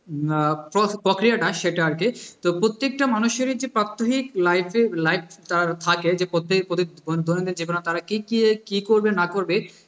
আহ প্রক~ প্রক্রিয়াটা সেটা আর কি তো প্রত্যেকটা মানুষের যে প্রাত্যহিক life এ life তার থাকে যে কত থেকে কি করবে না করবে